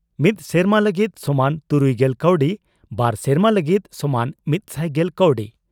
ᱢᱤᱛ ᱥᱮᱨᱢᱟ ᱞᱟᱹᱜᱤᱫ ᱥᱚᱢᱟᱱ ᱛᱩᱨᱩᱭᱜᱮᱞ ᱠᱟᱣᱰᱤ ᱾ᱵᱟᱨ ᱥᱮᱨᱢᱟ ᱞᱟᱹᱜᱤᱫ ᱥᱚᱢᱟᱱ ᱢᱤᱛᱥᱟᱭ ᱜᱮᱞ ᱠᱟᱣᱰᱤ